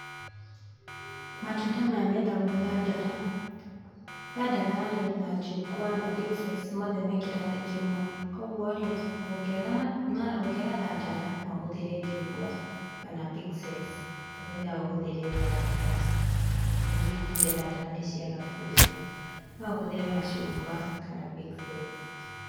Matunda maya metagwo thandara, thandara rĩ na njugwa na pixes mothe me kĩrathi kĩmwe. Koguo rĩ ũngĩaga thandara no uhũthĩre njungwa kana pixes, to nginya ũhũthĩre thandara kana hihi tuge thandara nĩ ciaga biũbiũ, no ũhũthĩre macungwa kana pixes.